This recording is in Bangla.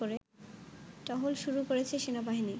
টহল শুরু করেছে সেনাবাহিনী